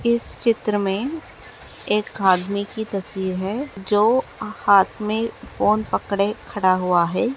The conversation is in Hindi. इस चित्र में एक आदमी की तस्वीर है जो हाथ में फोन पकड़े खड़ा हुआ है।